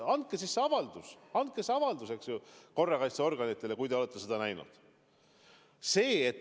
Andke siis avaldus, andke siis avaldus, eks ju, korrakaitseorganitele, kui te olete seda näinud.